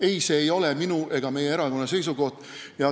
Ei, see ei ole minu ega meie erakonna seisukoht.